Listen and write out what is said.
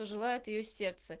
желает её сердце